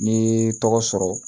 N'i ye tɔgɔ sɔrɔ